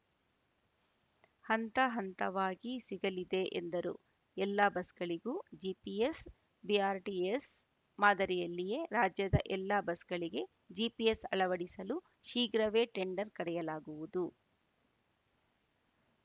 ಹಂತ ಹಂತವಾಗಿ ಸಿಗಲಿದೆ ಎಂದರು ಎಲ್ಲ ಬಸ್‌ಗಳಿಗೂ ಜಿಪಿಎಸ್‌ ಬಿಆರ್‌ಟಿಎಸ್‌ ಮಾದರಿಯಲ್ಲಿಯೇ ರಾಜ್ಯದ ಎಲ್ಲ ಬಸ್‌ಗಳಿಗೆ ಜಿಪಿಎಸ್‌ ಅಳವಡಿಸಲು ಶೀಘ್ರವೇ ಟೆಂಡರ್‌ ಕರೆಯಲಾಗುವುದು